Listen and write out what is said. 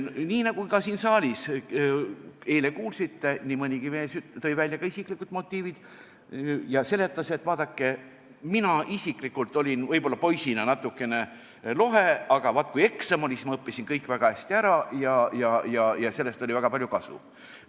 Nii nagu ka siin saalis eile kuulsite, nii mõnigi mees tõi välja ka isiklikud motiivid ja seletas, et vaadake, mina isiklikult olin võib-olla poisina natukene lohe, aga vaat, kui eksam oli, siis ma õppisin kõik väga hästi ära ja sellest oli väga palju kasu.